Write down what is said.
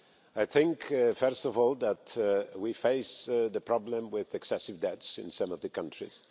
I think, first of all, that we face the problem with excessive debts in some of the countries.